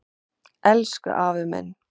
Elsku afi minn.